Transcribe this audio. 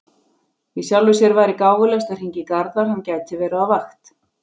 Í sjálfu sér væri gáfulegast að hringja í Garðar, hann gæti verið á vakt.